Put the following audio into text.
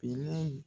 Finan in